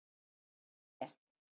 En af hverju te?